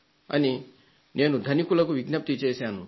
అని ధనికులకు నేను విజ్ఞప్తి చేశాను